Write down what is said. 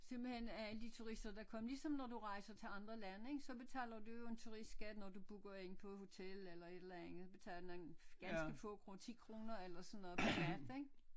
Simpelthen af alle de turister der kommer ligesom når du rejser til at lande ik så betaler du jo en turistskat når du booker ind på hotel eller et eller andet betaler en ganske få 10 kroner eller sådan noget pr nat ik